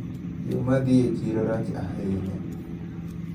Yo madhi e chiro rach ahinya.